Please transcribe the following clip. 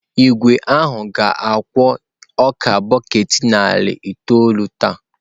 Igwe ahụ ka ga-egwe ọka bọket narị itoolụ taa.